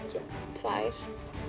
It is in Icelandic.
tvær